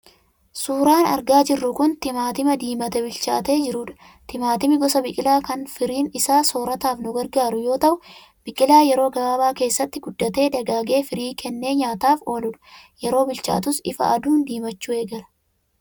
Suuraan argaa jirru kun timaatima diimatee bilchaatee jirudha. Timaatimni gosa biqilaa kan firiin isaa soorataaf nu gargaaru yoo ta'u, biqilaa yeroo gabaabaa keessatti guddatee, dagaagee firii kennee nyaataaf ooludha. Yeroo bilchaatus ifa aduun diimachuu eegala.